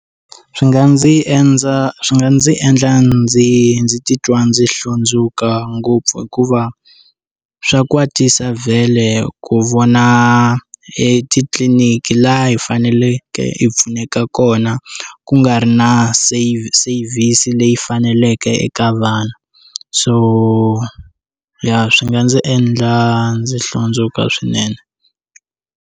Swi nga ndzi enza swi nga ndzi endla ndzi ndzi titwa ndzi hlundzuka ngopfu hikuva swa kwatisa vhele ku vona etitliniki la hi fanele hi pfuneka kona ku nga ri na save service leyi faneleke eka vana so ya swi nga ndzi endla ndzi hlundzuka swinene.